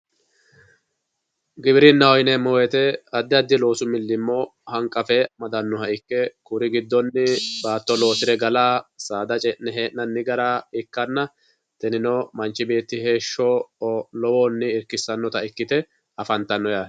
Giwirinaho yineemo woyite adi adi loosu miliimmo hanqafe amadanoha ikke, kuri gidonni baatto loosire gala saada ce'ne heenanni gara ikkanna tinino manchi beeti heesho lowohuni irkisanotta ikkite afanitanno yaatte